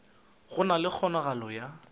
go na le kgonagalo ya